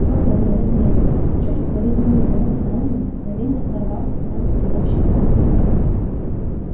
спокойный размеренный чуть укоризненный голос мелани на мгновение прорвался сквозь всеобщий гомон